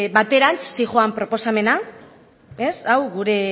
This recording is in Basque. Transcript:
baterantz zihoan proposamena hau